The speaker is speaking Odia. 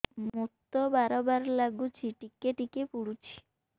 ମୁତ ବାର୍ ବାର୍ ଲାଗୁଚି ଟିକେ ଟିକେ ପୁଡୁଚି